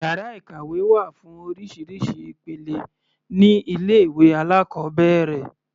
Yàrá ìkàwé wà fún oríṣiríṣi ìpele ní ilé ìwé alákọ̀ọ́bẹ̀rẹ̀.